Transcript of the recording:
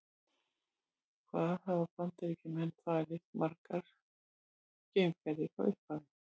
Hvað hafa Bandaríkjamenn farið margar geimferðir frá upphafi?